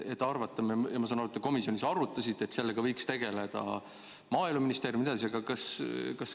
Ma saan aru, et te komisjonis arutasite, et sellega võiks tegeleda Maaeluministeerium jne.